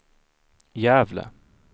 Gävle